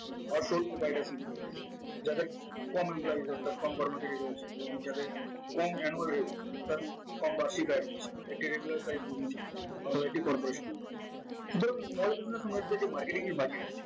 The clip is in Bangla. যাদের কম employee অর্থাৎ কম কর্মচারী রয়েছে এবং যাদের কম annual rate অর্থাৎ কম বার্ষিক আয় রয়েছে marketing এর budget